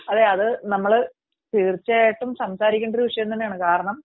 അതെ അത് നമ്മൾ തീർച്ചയായിട്ടും സംസാരിക്കേണ്ട ഒരു വിഷയം തന്നെയാണ് കാരണം